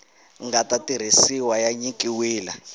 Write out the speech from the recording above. nga ta tirhisiwa ya nyikiwile